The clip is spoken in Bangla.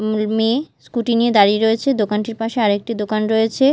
মেয়ে স্কুটি নিয়ে দাঁড়িয়ে রয়েছে দোকানটির পাশে আরেকটি দোকান রয়েছে।